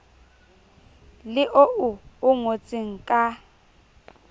le oo o ngotseng ka